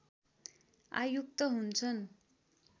आयुक्त हुन्छन्